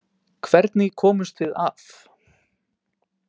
Hvernig komumst við af?